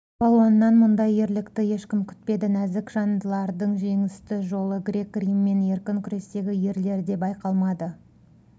балуаннан мұндай ерлікті ешкім күтпеді нәзік жандылардың жеңісті жолы грек-рим мен еркін күрестегі ерлерде байқалмады